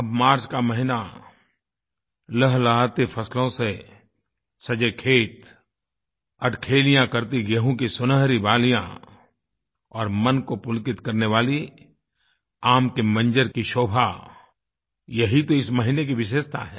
अब मार्च का महीना लहलहाते फसलों से सजे खेत अठखेलियाँ करती गेंहूँ की सुनहरी बालियाँ और मन को पुलकित करने वाली आम के मंजर की शोभा यही तो इस महीने की विशेषता है